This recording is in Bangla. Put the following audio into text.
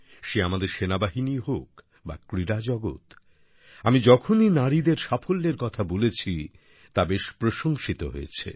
সে আমাদের সেনাবাহিনীই হোক বা ক্রীড়া জগৎ আমি যখনই নারীদের সাফল্যের কথা বলেছি তা বেশ প্রশংসিত হয়েছে